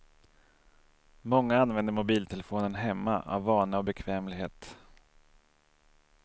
Många använder mobiltelefonen hemma, av vana och bekvämlighet.